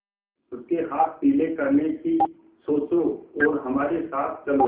उसके हाथ पीले करने की सोचो और हमारे साथ चलो